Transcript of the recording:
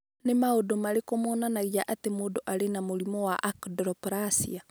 Nĩ maũndũ marĩkũ monanagia atĩ mũndũ arĩ na mũrimũ wa Achondroplasia?